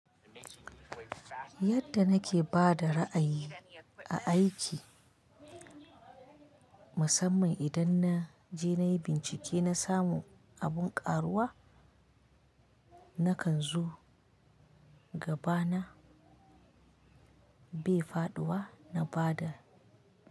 Yadda nake bada ra'ayi na a aiki, musamman idan naje nayi bincike na samu abun karuwa, nakan zo gabana bai faɗuwa na bada.